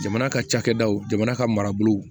Jamana ka cakɛdaw jamana ka marabolow